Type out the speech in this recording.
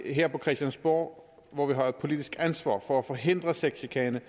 her på christiansborg hvor vi har et politisk ansvar for at forhindre sexchikane